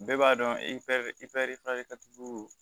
Bɛɛ b'a dɔn e